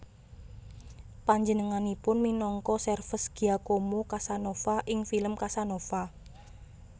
Panjenenganipun minangka serves Giacomo Casanova ing film Casanova